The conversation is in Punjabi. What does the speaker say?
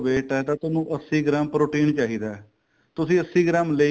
weight ਏ ਤਾਂ ਤੁਹਾਨੂੰ ਅੱਸੀ ਗ੍ਰਾਮ protein ਚਾਹੀਦਾ ਤੁਸੀਂ ਅੱਸੀ ਗ੍ਰਾਮ ਲੈਈ